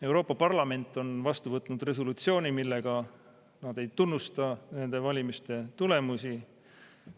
" Euroopa Parlament on vastu võtnud resolutsiooni, millega nad ei tunnusta nende valimiste tulemusi.